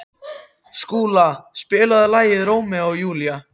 Skúla, spilaðu lagið „Rómeó og Júlía“.